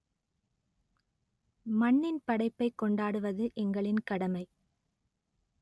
மண்ணின் படைப்பைக் கொண்டாடுவது எங்களின் கடமை